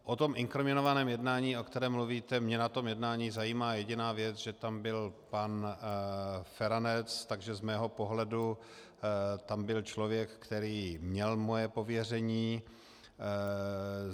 O tom inkriminovaném jednání, o kterém mluvíte - mě na tom jednání zajímá jediná věc, že tam byl pan Feranec, takže z mého pohledu tam byl člověk, který měl moje pověření.